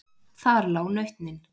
Þar lá nautnin.